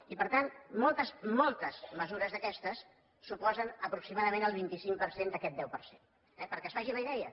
i per tant moltes moltes mesures d’aquestes suposen aproximadament el vint cinc per cent d’aquest deu per cent eh perquè se’n faci una idea